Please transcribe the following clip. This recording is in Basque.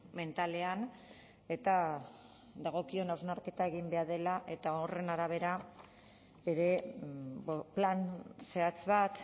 mentalean eta dagokion hausnarketa egin behar dela eta horren arabera ere plan zehatz bat